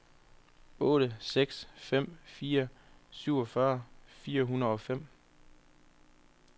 otte seks fem fire syvogfyrre fire hundrede og fem